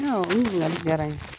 Ɔn o ɲininkali jara n ye.